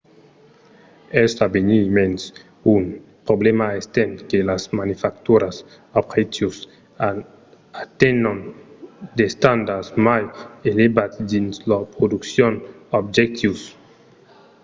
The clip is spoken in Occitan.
es a venir mens un problèma estent que las manufacturas d’objectius atenhon d’estandards mai elevats dins lor produccion d’objectius